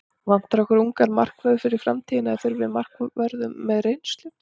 Vantar okkur ungan markvörð fyrir framtíðina eða þurfum við markvörð með reynslu?